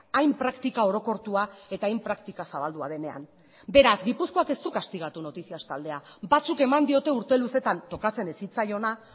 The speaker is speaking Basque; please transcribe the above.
hain praktika orokortua eta hain praktika zabaldua denean beraz gipuzkoak ez du kastigatu noticias taldea batzuk eman diote urte luzetan tokatzen ez zitzaiona